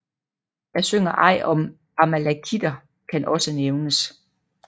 Jeg synger ej om Amalakiter kan også nævnes